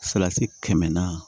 Salati kɛmɛ naani